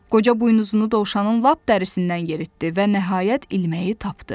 Qoca buynuzunu dovşanın lap dərisindən yeritdi və nəhayət ilməyi tapdı.